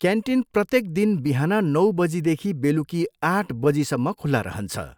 Canteen प्रत्येक दिन बिहान नौ बजीदेखि बेलुकी आठ बजेसम्म खुला रहन्छ।